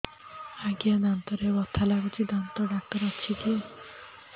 ଆଜ୍ଞା ଦାନ୍ତରେ ବଥା ଲାଗୁଚି ଦାନ୍ତ ଡାକ୍ତର ଅଛି କି